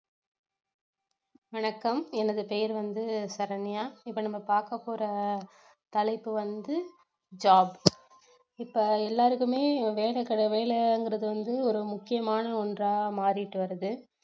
வணக்கம் எனது பெயர் வந்து சரண்யா இப்ப நம்ம பார்க்க போற தலைப்பு வந்து job இப்ப எல்லாருக்குமே வேலை கிட~ வேலைங்கறது வந்து ஒரு முக்கியமான ஒன்றா மாறிட்டு வருது